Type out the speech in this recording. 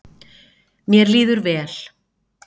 Mér líður vel